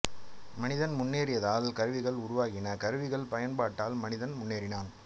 மனிதன் முன்னேறியதால் கருவிகள் உருவாகின கருவிகள் பயன்பாட்டால் மனிதன் முன்னேறினான்